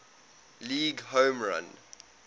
league home run